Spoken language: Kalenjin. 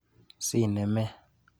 Sinemet.